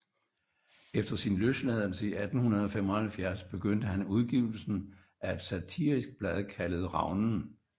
Efter sin løsladelse i 1875 begyndte han udgivelsen af et satirisk blad kaldet Ravnen